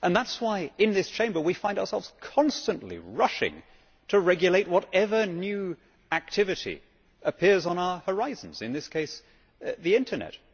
That is why, in this Chamber, we find ourselves constantly rushing to regulate whatever new activity appears on our horizons in this case the Internet.